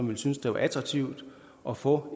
ville synes det var attraktivt at få